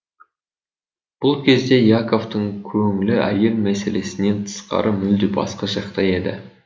бұл кезде яковтың көңлі әйел мәселесінен тысқары мүлде басқа жақта еді